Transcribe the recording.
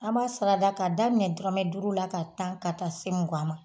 An b'a sarada ka daminɛ dɔrɔnɛ duuru ka tan ka taa se mugan ma